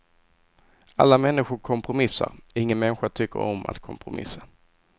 Alla människor kompromissar, ingen människa tycker om att kompromissa.